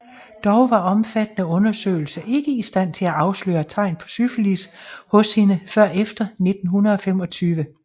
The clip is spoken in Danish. Dog var omfattende undersøgelser ikke i stand til at afsløre tegn på syfilis hos hende før efter 1925